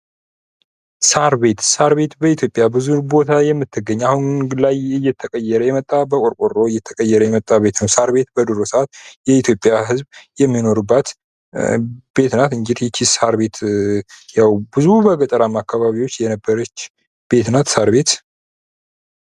ሳርቤት፦ ሳርቤት በኢትዮጵያ ብዙ ቦታ የምትገኝ አሁን እየተቀየረ የመጣ በቆርቆሮእ የተቀየረ የመጣ ቤቱ ነው። ሳር ቤት እሳት የኢትዮጵያ ህዝብ የሚኖሩባት ቤት ናት እንግድህ ይች ሳርቤትያው ብዙ በገጠራማ አካባቢዎች የነበረበች ቤት ናት ሳር ቤጥ